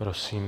Prosím.